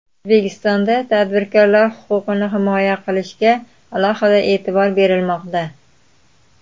O‘zbekistonda tadbirkorlar huquqini himoya qilishga alohida e’tibor berilmoqda.